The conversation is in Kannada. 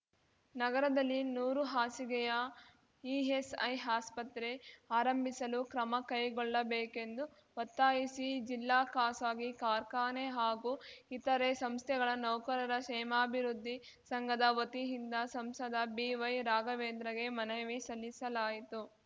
ನಗರದಲ್ಲಿ ನೂರು ಹಾಸಿಗೆಯ ಇಎಸ್‌ಐ ಆಸ್ಪತ್ರೆ ಆರಂಭಿಸಲು ಕ್ರಮ ಕೈಗೊಳ್ಳಬೇಕೆಂದು ಒತ್ತಾಯಿಸಿ ಜಿಲ್ಲಾ ಖಾಸಗಿ ಕಾರ್ಖಾನೆ ಹಾಗೂ ಇತರೆ ಸಂಸ್ಥೆಗಳ ನೌಕರರ ಕ್ಷೇಮಾಭಿವೃದ್ಧಿ ಸಂಘದ ವತಿಯಿಂದ ಸಂಸದ ಬಿವೈ ರಾಘವೇಂದ್ರಗೆ ಮನವಿ ಸಲ್ಲಿಸಲಾಯಿತು